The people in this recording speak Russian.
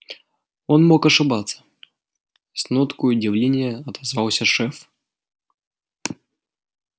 он мог ошибаться с ноткой удивления отозвался шеф